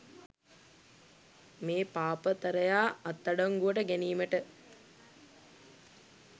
මේ පාපතරයා අත්අඩංගුවට ගැනීමට